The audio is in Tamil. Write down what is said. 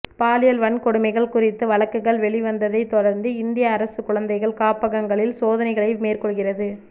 பாலியல் வன்கொடுமைகள் குறித்த வழக்குகள் வெளிவந்ததைத் தொடர்ந்து இந்திய அரசு குழந்தைகள் காப்பகங்களில் சோதனைகளை மேற்கொள்கிறது